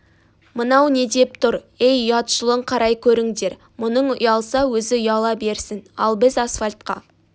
мынау не деп тұр ей ұятшылын қарай көріңдер мұның ұялса өзі ұяла берсін ал біз асфальтқа